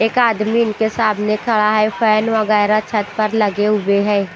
एक आदमी इनके सामने खड़ा है फैन वगैरा छत पर लगे हुए हैं।